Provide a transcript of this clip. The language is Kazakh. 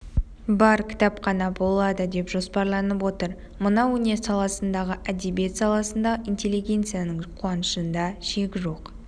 бар кітапхана болады деп жоспарланып отыр мына өнер саласындағы әдебиет саласындағы интеллигенцияның қуанышында шек жоқ